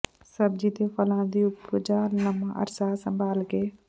ਸਬਜ਼ੀ ਤੇ ਫਲਾਂ ਦੀ ਉਪਜ ਲੰਮਾ ਅਰਸਾ ਸੰਭਾਲ ਕੇ